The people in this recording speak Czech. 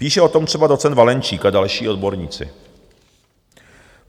Píše o tom třeba docent Valenčík a další odborníci.